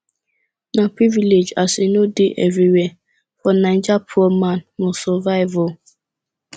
na privilege as e no dey evriwhere for naija poor man must survive o